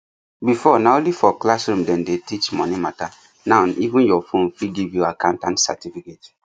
before na only for classroom dem dey teach money matter now even your phone fit give you accountant certificate